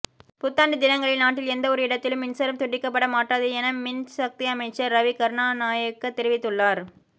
புத்தாண்டு தினங்களில் நாட்டில் எந்தவொரு இடத்திலும் மின்சாரம் துண்டிக்கப்பட மாட்டாது என மின் சக்தி அமைச்சர் ரவி கருணாநாயக்க தெரிவித்துள்ளார்